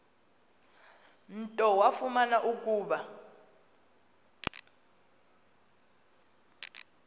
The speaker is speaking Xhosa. nto wafumana ukuba